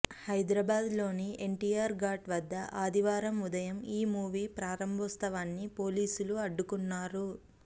హైదరాబాద్లోని ఎన్టీఆర్ ఘాట్ వద్ద ఆదివారం ఉదయం ఈ మూవీ ప్రారంభోత్సవాన్ని పోలీసులు అడ్డుకున్నారు